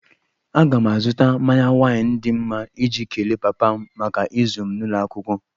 Aga m azụta mmanya waịn dị mma iji kelee papa m maka ịzụ m n'ụlọ akwụkwọ